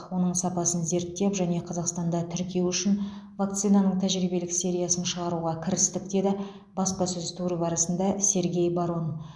оның сапасын зерттеп және қазақстанда тіркеу үшін вакцинаның тәжірибелік сериясын шығаруға кірістік деді баспасөз туры барысында сергей барон